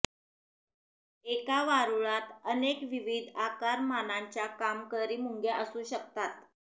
एका वारुळात अनेक विविध आकारमानांच्या कामकरी मुंग्या असू शकतात